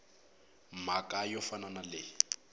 mhaka yo fana na leyi